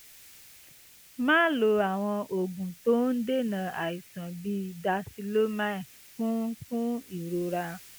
máa lo àwọn oògùn tó ń dènà àìsàn bíi dicyclomine fún fún ìrora